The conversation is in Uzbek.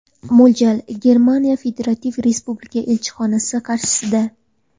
Mo‘ljal: Germaniya federativ respublikasi elchixonasi qarshisida.